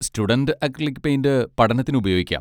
Student acrylic paint പഠനത്തിന് ഉപയോഗിക്കാം.